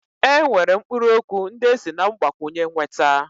E nwere mkpụrụ okwu ndị esi na mgbakwunye nweta.